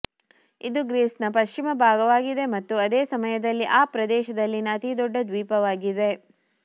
ಇದು ಗ್ರೀಸ್ನ ಪಶ್ಚಿಮ ಭಾಗವಾಗಿದೆ ಮತ್ತು ಅದೇ ಸಮಯದಲ್ಲಿ ಆ ಪ್ರದೇಶದಲ್ಲಿನ ಅತಿದೊಡ್ಡ ದ್ವೀಪವಾಗಿದೆ